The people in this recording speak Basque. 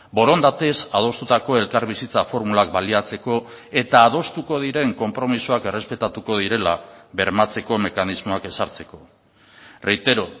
borondatez adostutako elkarbizitza formulak baliatzeko eta adostuko diren konpromisoak errespetatuko direla bermatzeko mekanismoak ezartzeko reitero